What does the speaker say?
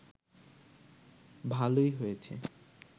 ভালোই হয়েছে